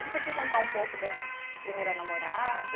E você quer contar um pouco da a primeira namorada?